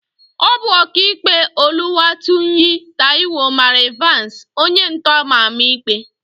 Ọ bụ Ọkaikpe Oluwatoyin Taiwo mara Ịvansị, onyentọ ama ama ikpe.